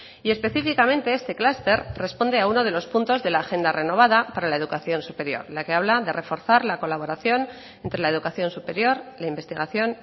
y específicamente este clúster responde a uno de los puntos de la agenda renovada para la educación superior la que habla de reforzar la colaboración entre la educación superior la investigación